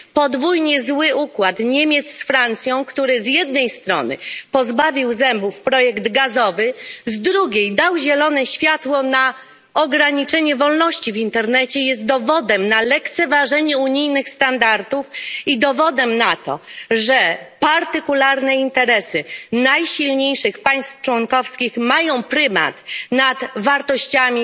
Podwójnie zły układ Niemiec z Francją, który z jednej strony pozbawił zębów projekt gazowy, z drugiej dał zielone światło na ograniczenie wolności w internecie, jest dowodem na lekceważenie unijnych standardów i dowodem na to, że partykularne interesy najsilniejszych państw członkowskich mają prymat nad wartościami